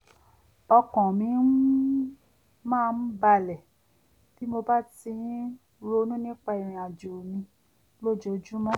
ọkàn mi um máa ń bàlẹ̀ bí mo bá ti ń ronú nípa ìrìn àjò mi lójoojúmọ́